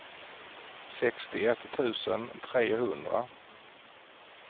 sextioett tusen trehundra